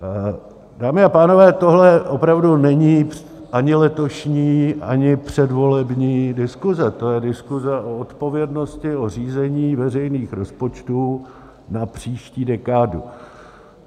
Dámy a pánové, tohle opravdu není ani letošní, ani předvolební diskuse, to je diskuse o odpovědnosti, o řízení veřejných rozpočtů na příští dekádu.